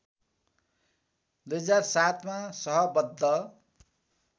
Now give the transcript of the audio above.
२००७ मा सहबद्ध